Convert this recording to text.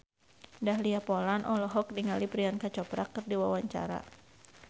Dahlia Poland olohok ningali Priyanka Chopra keur diwawancara